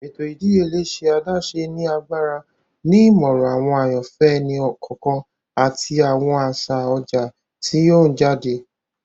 Ètò ìdíyelé ṣe adaṣe ni agbára, ni imọran awọn àyànfẹ ẹni kọọkan ati awọn aṣa ọjà ti n yọ jáde.